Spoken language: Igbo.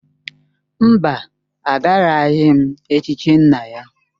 Mba, agaraghị m echichi nna ya.